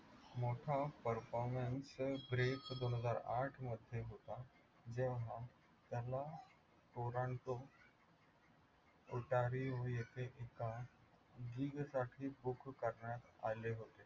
मोठा performance दोनहजार आठमध्ये होता. जेव्हा त्याला पोरांचं येथे एका करण्यात आले होते.